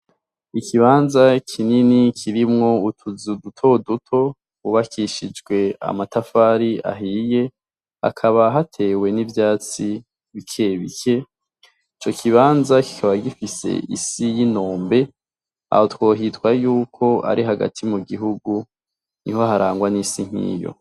Ikibanza kinini kirimwo utuzu dutoduto twubakishijwe amatafari ahiye, hakaba hatewe n'ivyatsi bikebike. Ico kibanza kikaba gifise isi y'inombe, aho twohitwa yuko ari hagati mu gihugu, niho harangwa n'isi nkiyo.